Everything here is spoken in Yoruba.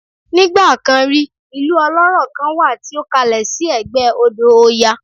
Nigba kan rí, ilu ọlọ́rọ̀ kan wà tí ó kalẹ̀ sí ẹ̀gbẹ́ odò oya